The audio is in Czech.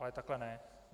Ale takhle ne.